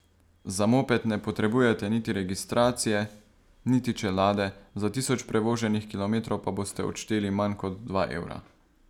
Za moped ne potrebujete niti registracije niti čelade, za tisoč prevoženih kilometrov pa boste odšteli manj kot dva evra.